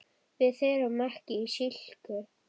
Við erum ekki í slíku.